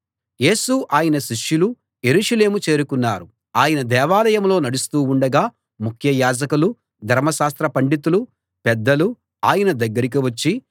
యేసు ఆయన శిష్యులు యెరూషలేము చేరుకున్నారు ఆయన దేవాలయంలో నడుస్తూ ఉండగా ముఖ్య యాజకులు ధర్మశాస్త్ర పండితులు పెద్దలు ఆయన దగ్గరికి వచ్చి